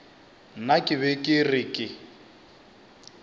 nna ke be ke re